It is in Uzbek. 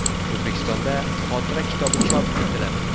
O‘zbekistonda xotira kitobi chop etiladi.